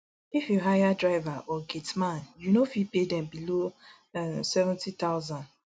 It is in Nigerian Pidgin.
if you hire driver or gateman you no fit pay dem below nseventy thousand